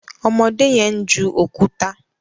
ọmọdé yen ń ju òkúta